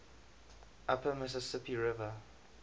upper mississippi river